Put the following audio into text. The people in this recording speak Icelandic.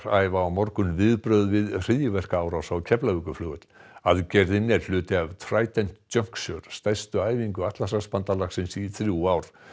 æfa á morgun viðbrögð við hryðjuverkaárás á Keflavíkurflugvöll aðgerðin er hluti af Trident Juncture stærstu æfingu Atlantshafsbandalagsins í þrjú ár